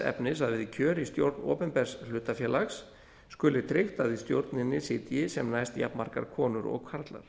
efnis að við kjör í stjórn opinbers hlutafélags skuli tryggt að í stjórninni sitji sem næst jafnmargar konur og karlar